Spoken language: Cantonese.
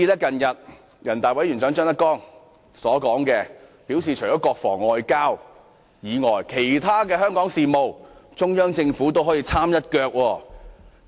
近日人大委員長張德江更表示，除了國防和外交外，其他的香港事務，中央政府也可以參一腳。